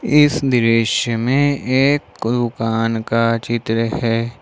इस दृश्य में एक दुकान का चित्र है।